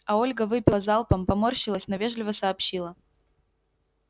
а ольга выпила залпом поморщилась но вежливо сообщила